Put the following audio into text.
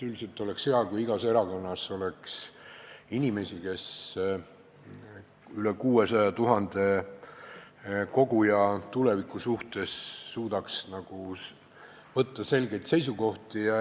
Üldiselt oleks hea, kui igas erakonnas oleks inimesi, kes suudaks võtta üle 600 000 koguja tuleviku suhtes selgeid seisukohti.